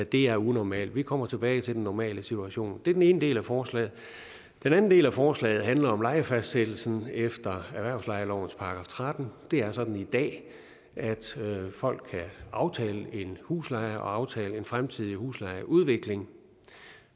det er unormalt vi kommer tilbage til den normale situation det er den ene del af forslaget den anden del af forslaget handler om lejefastsættelsen efter erhvervslejelovens § trettende det er sådan i dag at folk kan aftale en husleje og aftale en fremtidig huslejeudvikling